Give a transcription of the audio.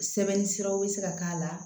Sɛbɛnni siraw be se ka k'a la